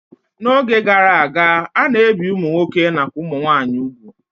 N'oge gara aga, a na-ebi ụmụ nwoke nakwa ụmụ nwaanyị ugwu